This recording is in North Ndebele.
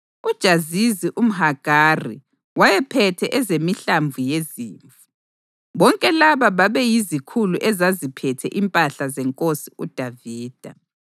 UJazizi umHagari wayephethe ezemihlambi yezimvu. Bonke laba babeyizikhulu ezaziphethe impahla zenkosi uDavida.